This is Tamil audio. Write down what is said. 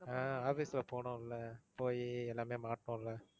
ஆஹ் office ல போனோம்ல. போயி எல்லாமே மாட்டுனோம்ல.